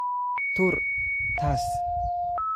Tuur taas